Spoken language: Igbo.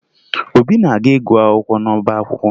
Obi na-aga ịgụ akwụkwọ n'ọba akwụkwọ